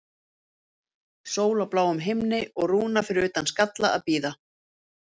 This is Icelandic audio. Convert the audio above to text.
Sól á bláum himni og Rúna fyrir utan Skalla að bíða.